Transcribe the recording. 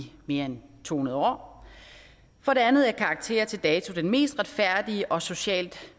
mere end to hundrede år for det andet er karakterer til dato den mest retfærdige og socialt